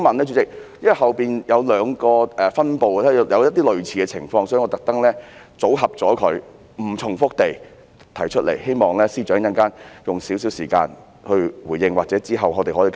因為之後有兩個分部也出現了類似情況，所以我特意組合在一起，希望在不重複的情況下提出，也希望司長稍後會花一些時間回應我，或是之後可以作出跟進。